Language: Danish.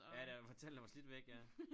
Ja der hvor tallene var slidt væk ja